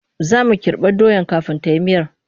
Za mu kirɓa doyar kafin ta yi miyar.